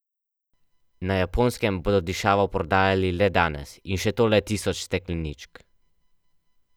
Na Japonskem bodo dišavo prodajali le danes, in še to le tisoč stekleničk.